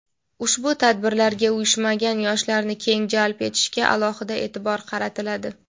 ushbu tadbirlarga uyushmagan yoshlarni keng jalb etishga alohida e’tibor qaratiladi.